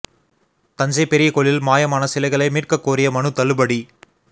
தஞ்சை பெரிய கோயிலில் மாயமான சிலைகளை மீட்கக் கோரிய மனு தள்ளுபடி